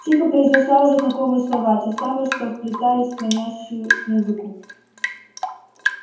тихо произнесла уже знакомые слова те самые что вплетались в манящую музыку